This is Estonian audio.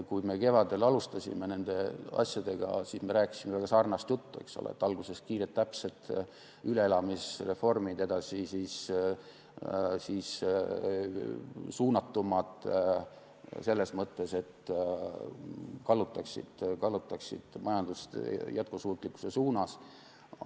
Kui me kevadel alustasime nende asjadega, siis me rääkisime väga sarnast juttu, et alguses kiired täpsed üleelamisreformid, edasi suunatumad, selles mõttes, et need kallutaksid majandust jätkusuutlikkuse suunas.